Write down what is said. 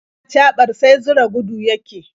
Ɗan acaɓar sai zura gudu yake.